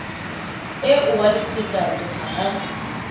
eo wa letekatse ha a